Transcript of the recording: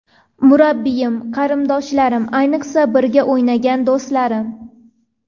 Murabbiyim, qarindoshlarim, ayniqsa, birga o‘ynagan do‘stlarim.